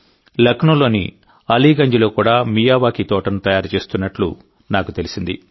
లక్నోలోని అలీగంజ్లో కూడా మియావాకీ తోటను తయారుచేస్తున్నట్టు నాకు తెలిసింది